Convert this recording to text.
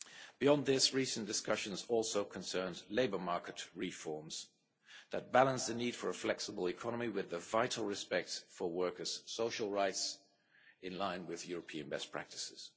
Beyond this, recent discussions also concerned labour market reforms that balance the need for a flexible economy with the vital respect for workers' social rights in line with European best practices.